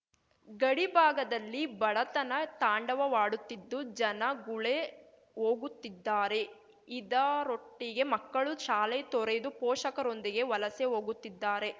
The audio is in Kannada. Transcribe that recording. ಗಡಿ ಭಾಗದಲ್ಲಿ ಬಡತನ ತಾಂಡವಾಡುತ್ತಿದ್ದು ಜನ ಗುಳೆ ಹೋಗುತ್ತಿದ್ದಾರೆ ಇದರೊಟ್ಟಿಗೆ ಮಕ್ಕಳು ಶಾಲೆ ತೊರೆದು ಪೋಷಕರೊಂದಿಗೆ ವಲಸೆ ಹೋಗುತ್ತಿದ್ದಾರೆ